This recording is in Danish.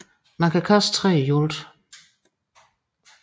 Man kan kaste tre gange i alt